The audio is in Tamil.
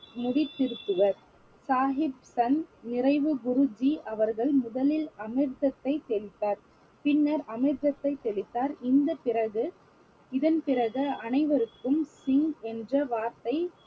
முடி திருத்துவர் சாஹிப் சந்த் நிறைவு குருஜி அவர்கள் முதலில் அமிர்தத்தை தெளித்தார் பின்னர் அமிர்தத்தை தெளித்தார் இந்த பிறகு இதன் பிறகு அனைவருக்கும் சிங் என்ற வார்த்தை